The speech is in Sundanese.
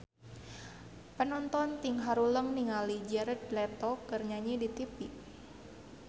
Panonton ting haruleng ningali Jared Leto keur nyanyi di tipi